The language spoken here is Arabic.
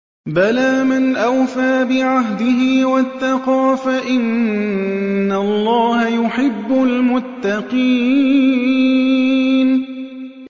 بَلَىٰ مَنْ أَوْفَىٰ بِعَهْدِهِ وَاتَّقَىٰ فَإِنَّ اللَّهَ يُحِبُّ الْمُتَّقِينَ